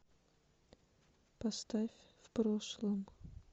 поставь в прошлом